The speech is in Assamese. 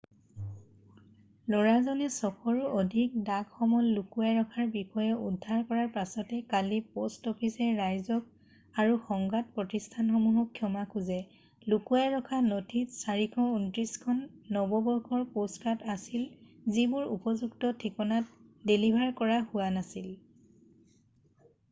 ল'ৰাজনে 600ৰো অধিক ডাক সমল লুকুৱাই ৰখাৰ বিষয়ে উদ্ধাৰ কৰাৰ পাছতে কালি প'ষ্ট অফিচে ৰাইজক আৰু সংবাদ প্ৰতিষ্ঠানসমূহক ক্ষমা খোজে লুকুৱাই ৰখা নথিত 429 খন নৱবৰ্ষৰ প'ষ্টকাৰ্ড আছিল যিবোৰ উপযুক্ত ঠিকনাত ডেলিভাৰ কৰা হোৱা নাছিল